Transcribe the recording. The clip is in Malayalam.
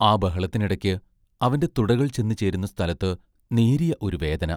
ആ ബഹളത്തിനിടയ്ക്ക് അവന്റെ തുടകൾ ചെന്നുചേരുന്ന സ്ഥലത്ത് നേരിയ ഒരു വേദന.